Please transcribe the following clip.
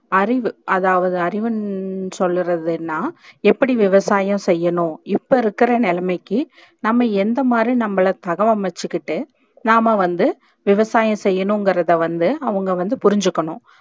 ஆறிவு ஆதாவுது அறிவு சொல்லுறது என்னா எப்படி விவசாயம் செய்யணும் இப்ப இருக்குற நிலைமைக்கு நம்ம எந்த மாதிரி நம்மள தகவ அமைச்சிகிட்டு நாம வந்து விவசாயம் செய்யணும் இங்குறத வந்து அவுங்க வந்து புரிச்சிக்கனும்